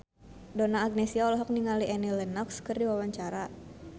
Donna Agnesia olohok ningali Annie Lenox keur diwawancara